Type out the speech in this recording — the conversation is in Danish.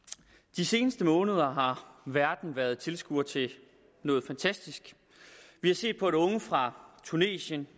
de seneste måneder har verden været tilskuer til noget fantastisk vi har set at unge fra tunesien